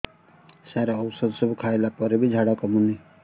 ସାର ଔଷଧ ସବୁ ଖାଇଲା ପରେ ବି ଝାଡା କମୁନି